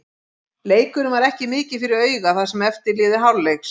Leikurinn var ekki mikið fyrir augað það sem eftir lifði hálfleiks.